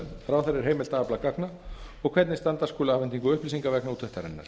ráðherra er heimilt að afla gagna og hvernig standa skuli að afhendingu upplýsinga vegna úttektarinnar